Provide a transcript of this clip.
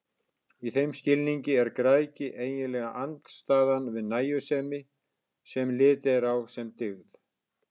Í þeim skilningi er græðgi eiginlega andstæðan við nægjusemi, sem litið er á sem dygð.